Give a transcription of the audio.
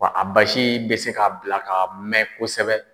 Wa a basi bɛ se k'a bila ka mɛn kosɛbɛ.